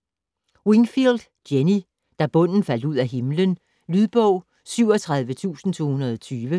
Wingfield, Jenny: Da bunden faldt ud af himlen Lydbog 37220